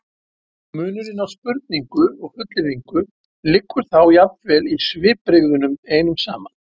munurinn á spurningu og fullyrðingu liggur þá jafnvel í svipbrigðunum einum saman